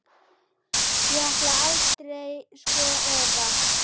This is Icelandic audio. Ég ætlaði aldrei, sko, eða.